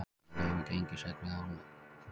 Segja lög um gengistryggð lán gagnslaus